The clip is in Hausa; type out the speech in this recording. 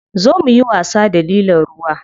Zo muyi wasa da lilon ruwa.